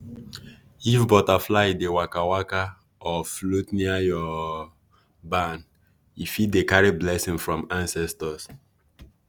if butterfly dey waka-waka or float near your barn e fit dey carry blessing from ancestors.